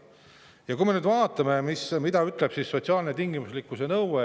Vaatame nüüd, mida sotsiaalse tingimuslikkuse nõue.